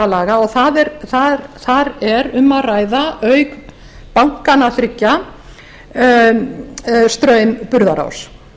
laga og þar er um að ræða auk bankanna þriggja straum burðarás